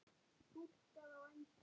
Túlkað á ensku.